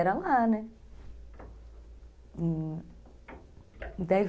Era lá, né?